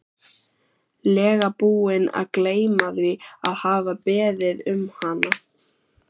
lega búinn að gleyma því að hafa beðið um hana.